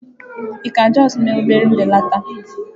Ị ka justuu mee obere mbelata?